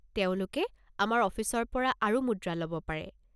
তেওঁলোকে আমাৰ অফিচৰ পৰা আৰু মুদ্ৰা ল'ব পাৰে।